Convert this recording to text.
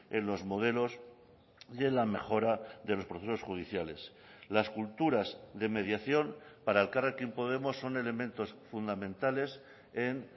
en los modelos de la mejora de los procesos judiciales las culturas de mediación para elkarrekin podemos son elementos fundamentales en